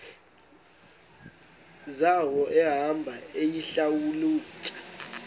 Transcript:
zawo ehamba eyihlalutya